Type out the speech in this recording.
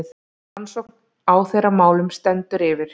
Rannsókn á þeirra málum stendur yfir.